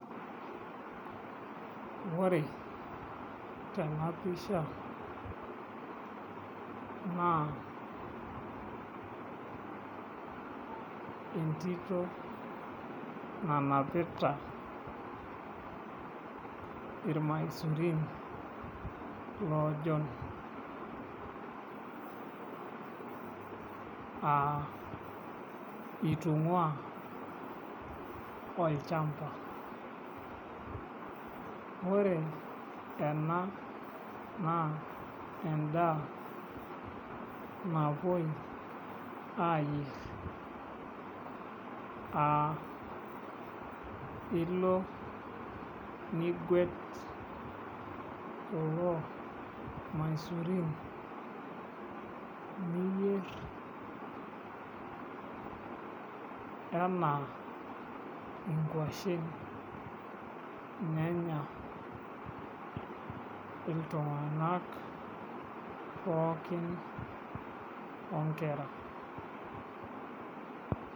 Ore tena pisha naa entito nanapita irmaisurin loojon aa itung'uaa olchamba, ore ena naa endaa napuoi aayierr aa ilo niguet kulo maisurin niyierr enaa nkuashen nenya iltung'anak pookin oonkera.